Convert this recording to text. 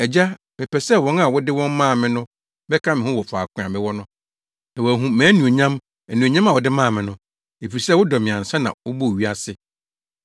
“Agya, mepɛ sɛ wɔn a wode wɔn maa me no bɛka me ho wɔ faako a mewɔ no, na wɔahu mʼanuonyam, anuonyam a wode maa me no, efisɛ wodɔ me ansa na wobɔɔ wiase.